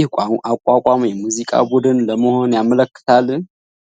ይህ አቋቋም የሙዚቃ ቡድን ለመሆኑ ያመለክታል?